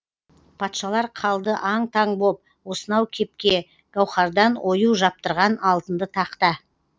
патшалар қалды аң таң боп осынау кепке гауһардан ою жаптырған алтынды тақта